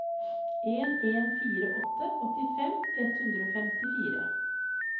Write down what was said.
en en fire åtte åttifem ett hundre og femtifire